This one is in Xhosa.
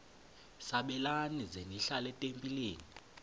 sabelani zenihlal etempileni